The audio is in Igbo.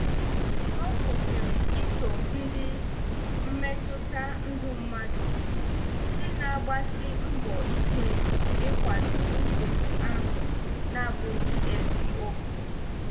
Ọ kwụsịrị iso ndị mmetụta ndụ mmadụ, ndị na -agbasi mbọ ike ị kwado ụkpụrụ ahụ na -abụghị eziokwu.